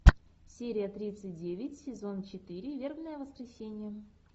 серия тридцать девять сезон четыре вербное воскресенье